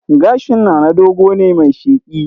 Gashin Nana dogo ne mai sheƙi